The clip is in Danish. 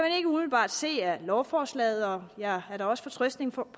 umiddelbart ses af lovforslaget og jeg er da også fortrøstningsfuld